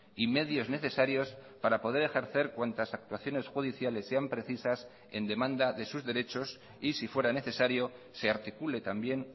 y medios necesarios para poder ejercer cuantas actuaciones judiciales sean precisas en demanda de sus derechos y si fuera necesario se articule también